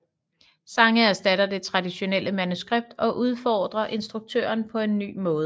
Sange erstatter det traditionelle manuskript og udfordrer instruktøren på en ny måde